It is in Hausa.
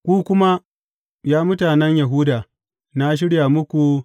Ku kuma, ya mutanen Yahuda, na shirya muku ranar girbi.